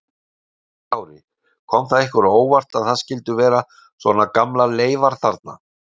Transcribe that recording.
Höskuldur Kári: Kom það ykkur á óvart að það skyldu vera svona gamlar leifar þarna?